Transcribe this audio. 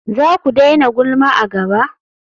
Zaku daina gulma a gaba?